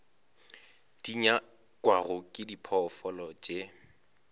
di nyakwago ke diphoofolo tše